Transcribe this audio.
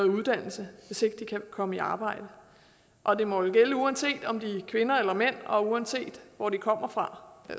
uddannelse hvis ikke de kan komme i arbejde og det må jo gælde uanset om det er kvinder eller mænd og uanset hvor de kommer fra